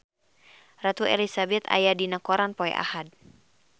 Ratu Elizabeth aya dina koran poe Ahad